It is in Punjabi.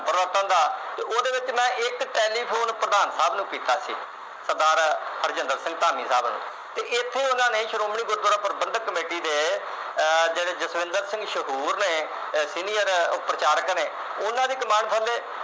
ਇਕ ਟੈਲੀਫੋਨ ਪ੍ਰਧਾਨ ਸਾਹਿਬ ਨੂੰ ਕੀਤਾ ਸੀ ਸਰਦਾਰ ਹਰਜਿੰਦਰ ਸਿੰਘ ਧਾਮੀ ਸਾਹਿਬ ਨੂੰ ਤੇ ਇਥੇ ਉਨ੍ਹਾਂ ਨੇ ਸ਼੍ਰੋਮਣੀ ਗੁਰਦੁਆਰਾ ਪ੍ਰਬੰਧਕ ਕਮੇਟੀ ਦੇ ਆਹ ਜਿਹੜੇ ਜਸਵਿੰਦਰ ਸਿੰਘ ਮਸ਼ਹੂਰ ਨੇ ਅਹ senior ਉਹ ਪ੍ਰਚਾਰਕ ਨੇ ਉਨ੍ਹਾਂ ਦੀ ਕਮਾਨ ਥੱਲੇ